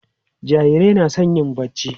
jarirai na San yin barci